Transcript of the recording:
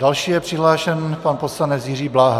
Další je přihlášen pan poslanec Jiří Bláha.